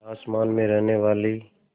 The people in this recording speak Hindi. आसमान में रहने वाली